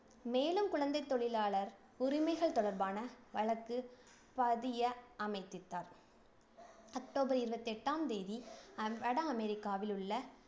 மேலும் குழந்தைத் தொழிலாளர் உரிமைகள் தொடர்பான வழக்கு பதிய அமதித்தார் அக்டோபர் இருவத்தி எட்டாம் தேதி, அ~ வடஅமெரிக்காவில் உள்ள